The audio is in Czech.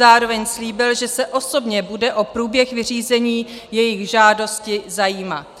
Zároveň slíbil, že se osobně bude o průběh vyřízení jejich žádosti zajímat.